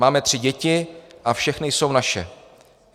Máme tři děti a všechny jsou naše.